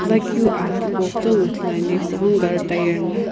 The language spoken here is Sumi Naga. pulakeu aa tipau kutomo ithuluani kughengu gari tire na--